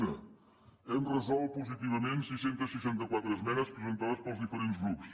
una hem resolt positivament sis cents i seixanta quatre esmenes presentades pels diferents grups